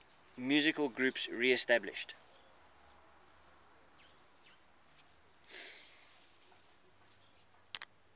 musical groups reestablished